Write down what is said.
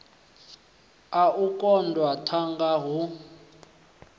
a u koḓa thanga hu